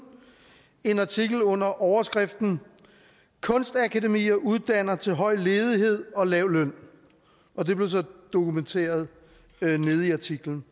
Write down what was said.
en artikel under overskriften kunstakademier uddanner til høj ledighed og lav løn og det blev så dokumenteret nede i artiklen